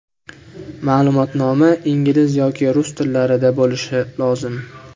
Ma’lumotnoma ingliz yoki rus tillarida bo‘lishi lozim.